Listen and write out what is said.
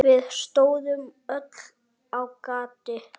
Við stóðum öll á gati.